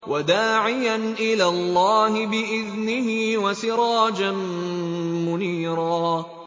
وَدَاعِيًا إِلَى اللَّهِ بِإِذْنِهِ وَسِرَاجًا مُّنِيرًا